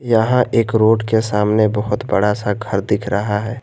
यहां एक रोड के सामने बहुत बड़ा सा घर दिख रहा है।